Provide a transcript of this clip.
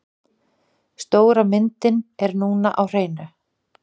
Stóra myndina er núna á hreinu.